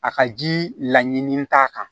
A ka ji la ɲini t'a kan